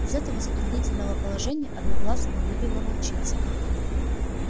из этого затруднительного положения одноглазого вывела волчица